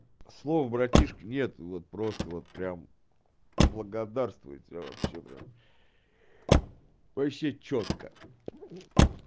слов братишки нет вот просто вот прямо благодарствую тебе вообще прям вообще чётко